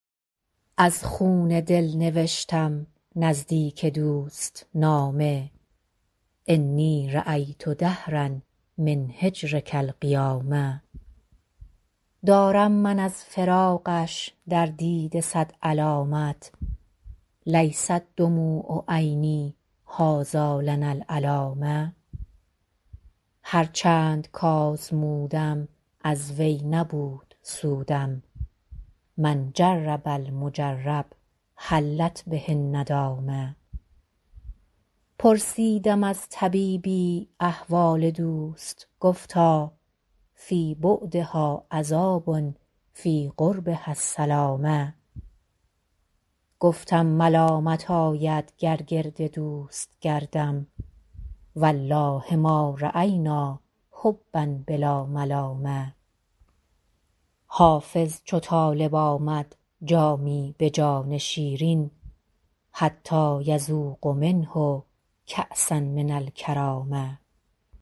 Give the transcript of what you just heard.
از خون دل نوشتم نزدیک دوست نامه انی رأیت دهرا من هجرک القیامه دارم من از فراقش در دیده صد علامت لیست دموع عینی هٰذا لنا العلامه هر چند کآزمودم از وی نبود سودم من جرب المجرب حلت به الندامه پرسیدم از طبیبی احوال دوست گفتا فی بعدها عذاب فی قربها السلامه گفتم ملامت آید گر گرد دوست گردم و الله ما رأینا حبا بلا ملامه حافظ چو طالب آمد جامی به جان شیرین حتیٰ یذوق منه کأسا من الکرامه